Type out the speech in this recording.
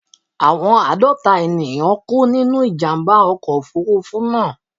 Àwọn àádọ́ta ènìyàn kú nínú ìjàmbá ọkọ̀ Òfurufú náà.